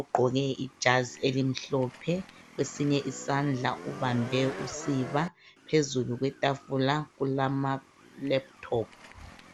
Ugqoke ijazi elimhlophe, kwesinye isandla ubambe usiba, phezulu kwetafula kulamalaptop.